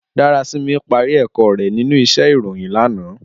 Darasimi pàrí èkò rè ninú íṣè iróyin làná